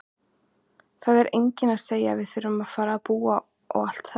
Það er enginn að segja að við þurfum að fara að búa og allt það!